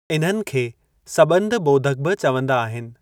इन्हनि खे सॿंध ॿोधकु बि चवंदा आहिनि।